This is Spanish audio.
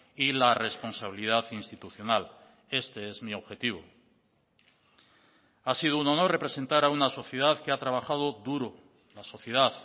y la responsabilidad institucional este es mi objetivo ha sido un honor representar a una sociedad que ha trabajado duro la sociedad